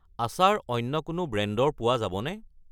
আচাৰ অন্য কোনো ব্ৰেণ্ডৰ পোৱা যাবনে?